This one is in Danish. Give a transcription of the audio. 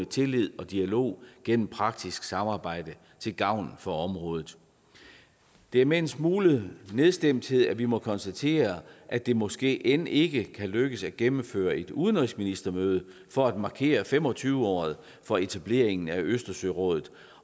tillid og dialog gennem praktisk samarbejde til gavn for området det er med en smule nedstemthed at vi må konstatere at det måske end ikke kan lykkes at gennemføre et udenrigsministermøde for at markere fem og tyve året for etableringen af østersørådet